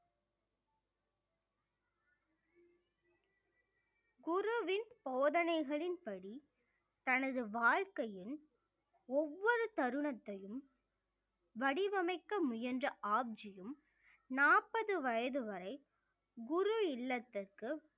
குருவின் போதனைகளின் படி தனது வாழ்க்கையின் ஒவ்வொரு தருணத்தையும் வடிவமைக்க முயன்ற ஆப்ஜியும் நாற்பது வயது வரை குரு இல்லத்திற்கு